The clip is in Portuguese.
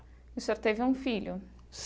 E o senhor teve um filho?